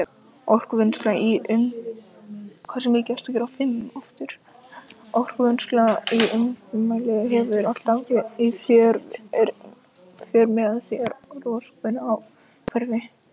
Orkuvinnsla í umtalsverðum mæli hefur alltaf í för með sér röskun á umhverfi.